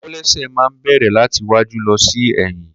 Kòlẹ́sẹ́ ma ń bẹ̀rẹ̀ láti iwájú lọ sí ẹ̀yìn.